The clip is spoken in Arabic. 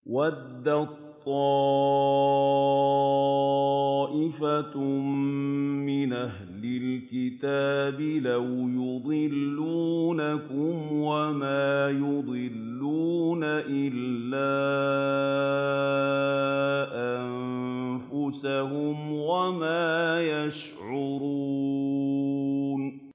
وَدَّت طَّائِفَةٌ مِّنْ أَهْلِ الْكِتَابِ لَوْ يُضِلُّونَكُمْ وَمَا يُضِلُّونَ إِلَّا أَنفُسَهُمْ وَمَا يَشْعُرُونَ